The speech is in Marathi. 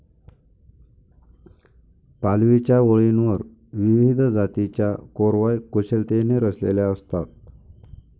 पालवीच्या ओळींवर विविध जातीच्या कोरवाय कुशलतेने रचलेल्या असतात.